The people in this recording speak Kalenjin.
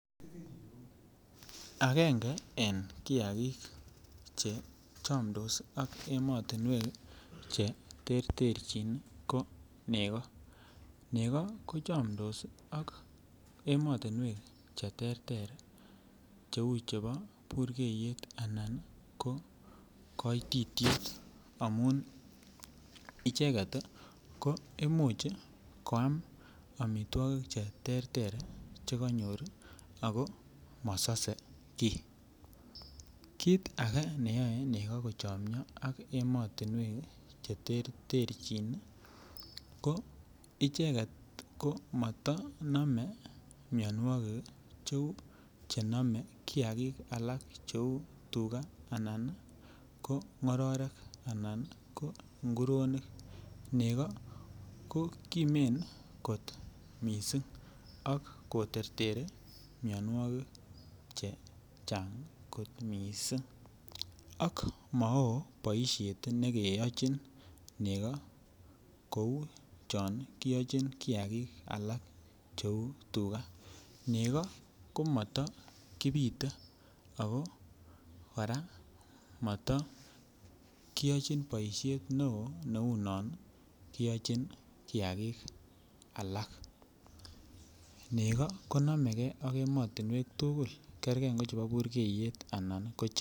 Akenge en kiakik che chomdos ak emotinwek cheterterchin ko nekoo, nekoo kochomndos ak emotinwek cheterter cheuu chebo burkeyet anan ko koititiet amun icheket ko imuch koam amitwokik cheterter chekonyor ak ko mosose kii, kiit akee neyoe en neko kochonyo ak emotinwek cheterterchin ko icheket ko motonome mionwokik cheuu chenome kiakik alak cheuu tukaa anan ko ng'ororek anan ko ng'uronik, nekoo ko kimen kot mising ak koterteri mionwokik chechang kot mising ak maoo boishet nekeyochin nekoo kouu chon kiyochin kiakik alak cheuu tukaa, nekoo komotokibite ak ko kora motokiyochin boishet neoo neunon kiyochin kiakik alak, neko konomeke ak emotinwek tukul, kerke ngochebo burkeyet anan koch.